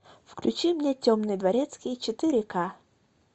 включи мне темный дворецкий четыре ка